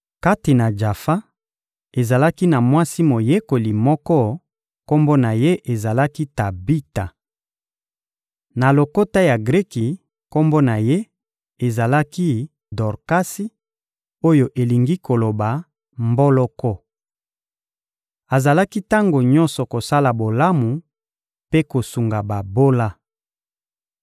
Kati na Jafa, ezalaki na mwasi moyekoli moko, kombo na ye ezalaki «Tabita.» Na lokota ya Greki, kombo na ye ezalaki Dorkasi (oyo elingi koloba: Mboloko). Azalaki tango nyonso kosala bolamu mpe kosunga babola.